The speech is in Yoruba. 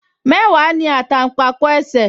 Mẹ́wàá ní àtàǹpàkò ẹsẹ̀